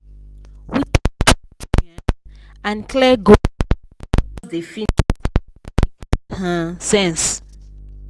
without discipline um and clear goal money go just dey finish on wetin no make um sense.